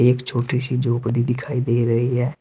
एक छोटी सी झोपड़ी दिखाई दे रही है।